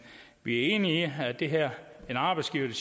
vi er enige i at det her med arbejdsgivere